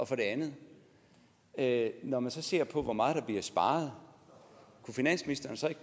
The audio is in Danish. for det andet andet når man så ser på hvor meget der bliver sparet kunne finansministeren så ikke